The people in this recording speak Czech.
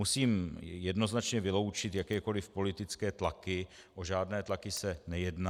Musím jednoznačně vyloučit jakékoliv politické tlaky, o žádné tlaky se nejedná.